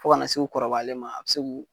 Fo kana se u kɔrɔbayalen ma a bɛ se k'u